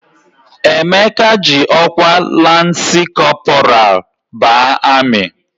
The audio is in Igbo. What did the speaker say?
Emeka ji ọkwa lansị kọpọral baa amị.